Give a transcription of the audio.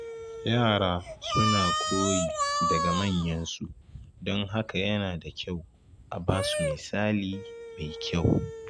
Yara suna koyi daga manyansu, don haka yana da kyau a basu misali mai kyau.